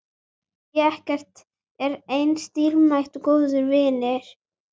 Því ekkert er eins dýrmætt og góðir vinir.